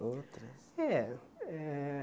Outras? É eh